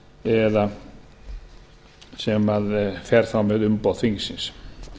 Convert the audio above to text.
eða sem fer þá með umboð þingsins